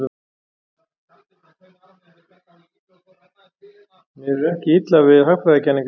Mér er ekki illa við hagfræðikenningar.